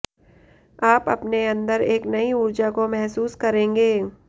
आप अपने अंदर एक नई ऊर्जा को महसूस करेंगे